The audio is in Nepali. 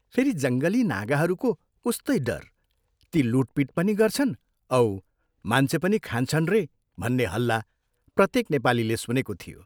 फेरि जङ्गली नागाहरूको उस्तै डर ती लूटपीट पनि गर्छन् औ मान्छे पनि खान्छन् रे भन्ने हल्ला प्रत्येक नेपालीले सुनेको थियो।